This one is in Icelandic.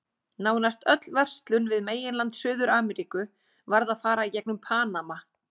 Nánast öll verslun við meginland Suður-Ameríku varð að fara í gegnum Panama.